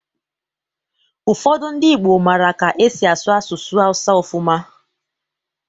Ụfọdụ ndị Igbo mara ka e si asụ asụsụ Hausa ọfụma